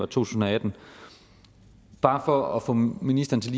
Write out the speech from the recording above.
tusind og atten bare for lige at få ministeren til